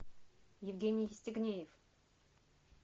евгений евстигнеев